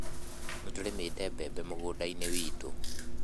Nĩtũrĩmĩte mbembe mũgũnda-inĩ witũ